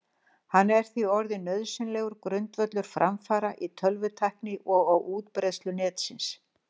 Hann er því orðinn nauðsynlegur grundvöllur framfara í tölvutækni og á útbreiðslu Netsins.